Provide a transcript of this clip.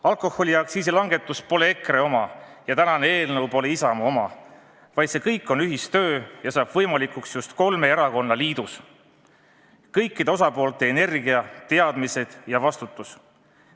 Alkoholiaktsiisi langetus pole EKRE oma ja tänane eelnõu pole Isamaa oma, vaid see kõik on ühistöö ja saab võimalikuks just kolme erakonna liidus, see on kõikide osapoolte energia, teadmised ja vastutus.